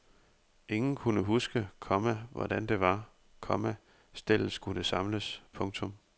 Ingen kunne huske, komma hvordan det var, komma stellet skulle samles. punktum